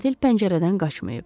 Qatil pəncərədən qaçmayıb.